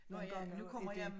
Nogen gange er det